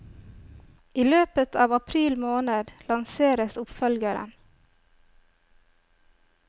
I løpet av april måned lanseres oppfølgeren.